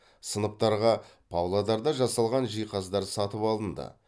сыныптарға павлодарда жасалған жиһаздар сатып алынды